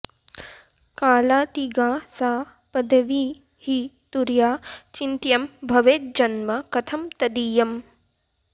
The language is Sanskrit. कालातिगा सा पदवी हि तुर्या चिन्त्यं भवेज्जन्म कथं तदीयम्